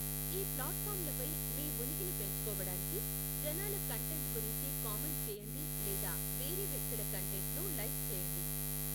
ఈ ప్లాట్ఫాంలపై మీ ఉనికిని పెంచుకోవడానికి, జనాల కంటెంట్ గురించి కామెంట్ చేయండి లేదా వేరే వ్యక్తుల కంటెంట్ను లైక్ చేయండి.